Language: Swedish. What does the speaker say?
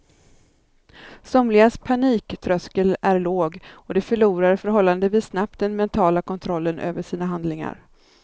Somligas paniktröskel är låg och de förlorar förhållandevis snabbt den mentala kontrollen över sina handlingar.